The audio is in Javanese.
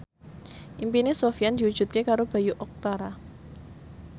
impine Sofyan diwujudke karo Bayu Octara